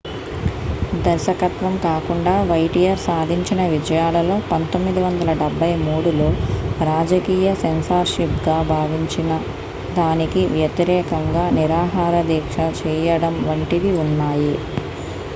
దర్శకత్వం కాకుండా వౌటియర్ సాధించిన విజయాలలో 1973లో రాజకీయ సెన్సార్షిప్గా భావించిన దానికి వ్యతిరేకంగా నిరాహార దీక్ష చేయడం వంటివి ఉన్నాయి